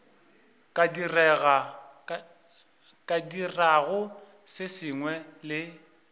ka dirago se sengwe le